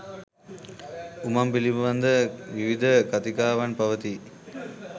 උමං පිළිබඳ විවිධ කතිකාවන් පවතී